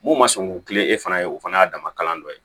Mun ma sɔn k'u kilen e fana ye o fana y'a dama kalan dɔ ye